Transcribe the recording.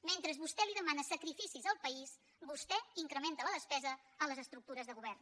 mentre vostè li demana sacrificis al país vostè incrementa la despesa en les estructures de govern